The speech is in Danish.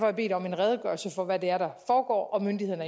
jeg bedt om en redegørelse for hvad det er der foregår og myndighederne